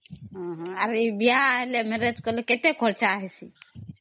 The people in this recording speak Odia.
ଅ ହ ଏ ଆରେ ଏ ବିହା ହେଲେ marriage କଲେ କେତେ ଖର୍ଚ୍ଚ ହବା